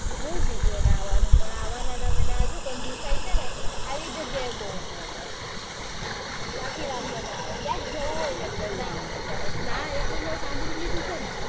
બૌ કીધું એને આવાનું પણ આવા કંજુસાઈ આવી જગ્યાએ બૌ નડે. બાકી વાંધો ના આવે. ક્યાંક જાઉં હોય એટલે ના આવે તરત. ના એટલું સાંભળી લીધું છે ને